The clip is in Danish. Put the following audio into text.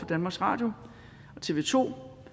danmarks radio og tv to